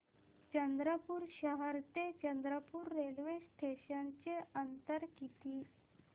चंद्रपूर शहर ते चंद्रपुर रेल्वे स्टेशनचं अंतर किती